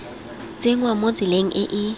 tsenngwa mo tseleng e e